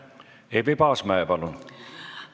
Eevi Paasmäe, palun!